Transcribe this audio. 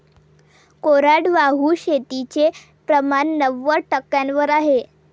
कोरडवाहू शेतीचे प्रमाण नव्वद टक्क्यांवर आहे.